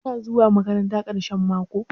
Kina zuwa maƙaranta ƙarahen maƙo?